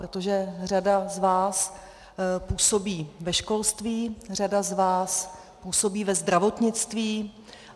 Protože řada z vás působí ve školství, řada z vás působí ve zdravotnictví.